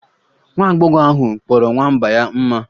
Nwa agbọghọ ahụ kpọrọ nwamba ya mma